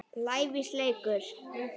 lævís leikur.